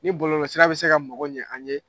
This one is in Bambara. Ni bɔlɔlɔ sira bi se ka mago ɲɛ an ɲe